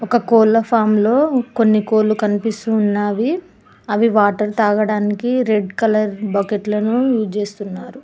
ఒక కోళ్ల ఫామ్ లో కొన్ని కోళ్లు కనిపిస్తూ ఉన్నావి అవి వాటర్ తాగడానికి రెడ్ కలర్ బకెట్లను యూస్ చేస్తున్నారు.